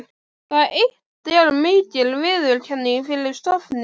Það eitt er mikil viðurkenning fyrir stofninn.